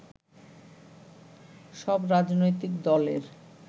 সব রাজনৈতিক দলের